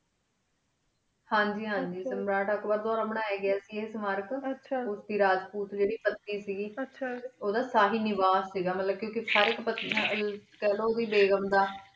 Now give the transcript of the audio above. ਹਨ ਜੀ ਹਨ ਜੀ ਸਮਿਤ ਆਕ੍ਰ ਡੀ ਦੁਹਰਾ ਬਨਾਯਾ ਗਯਾ ਸੇ ਸਿਸ੍ਤੀਹਾਰਕ ਉਠੀ ਰਾਜ ਪੁਤ ਜੀਰੀ ਸੀਗੀ ਉਨਾ ਦਾ ਚਾਹਾ ਸਹੀ ਨਿਵਾਰ ਸੀਗਾ ਮਤਲਬ ਕੀ ਸ਼ਰੀਕ ਪਾਯਿਆਲ ਖਲੋ ਕੀ ਬਘ੍ਮ ਦਾ